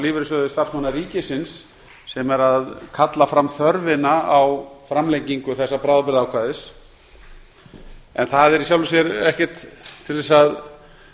lífeyrissjóði starfsmanna sveitarfélaga sem kallar fram þörfina á framlengingu þessa bráðabirgðaákvæðis en það er í sjálfu sér ekkert til þess að